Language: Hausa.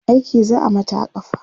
aiki za'a Mata a kafa